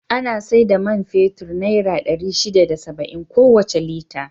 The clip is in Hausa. Ana sai da man fetur naira ɗari shida da saba'in kowace Lita.